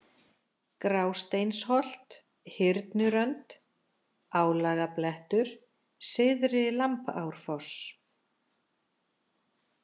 Grásteinsholt, Hyrnurönd, Álagablettur, Syðri-Lambárfoss